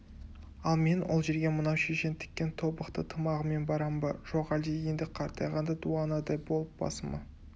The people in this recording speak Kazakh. ал мен ол жерге мынау шешең тіккен тобықты тымағымен барам ба жоқ әлде енді қартайғанда дуанадай болып басыма